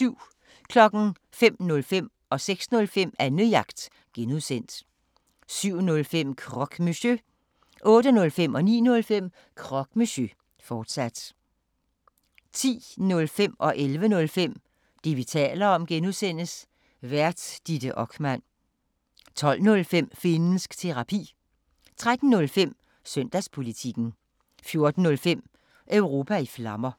05:05: Annejagt (G) 06:05: Annejagt (G) 07:05: Croque Monsieur 08:05: Croque Monsieur, fortsat 09:05: Croque Monsieur, fortsat 10:05: Det, vi taler om (G) Vært: Ditte Okman 11:05: Det, vi taler om (G) Vært: Ditte Okman 12:05: Finnsk Terapi 13:05: Søndagspolitikken 14:05: Europa i Flammer